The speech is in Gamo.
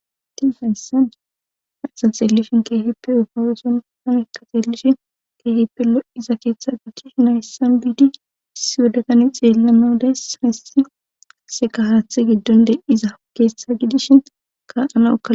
Ti hayssan asa xeellifin keefippe ufawooson hami ka xeellishin keehippelo iza keeththe gidish nayssan biidi si wodakani xeellana udays haysi se kahaathe giddonde iza hogeessha gidishin ka ana oka